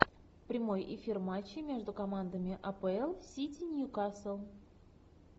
прямой эфир матча между командами апл сити ньюкасл